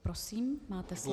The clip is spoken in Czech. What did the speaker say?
Prosím, máte slovo.